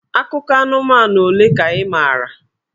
Akụkọ anụmanụ ole ka ị maara?